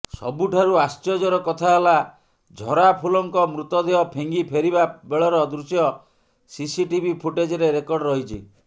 ସବୁଠାରୁ ଆଶ୍ଚର୍ଯ୍ୟର କଥା ହେଲା ଝରାଫୁଲଙ୍କ ମୃତଦେହ ଫିଙ୍ଗି ଫେରିବା ବେଳର ଦୃଶ୍ୟ ସିସିଟିଭି ଫୁଟେଜରେ ରେକର୍ଡ ରହିଛି